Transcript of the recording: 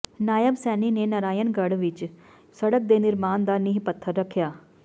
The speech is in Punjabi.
ਨਾਇਬ ਸੈਣੀ ਨੇ ਨਰਾਇਣਗੜ੍ਹ ਵਿੱਚ ਸੜਕ ਦੇ ਨਿਰਮਾਣ ਦਾ ਨੀਂਹ ਪੱਥਰ ਰੱਖਿਆ